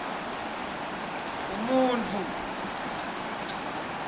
umuntfu